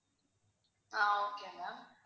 ah okay ma'am